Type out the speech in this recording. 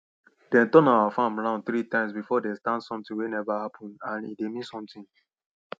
dem turn our farm round three times before dem stand something wey never happen and e dey mean something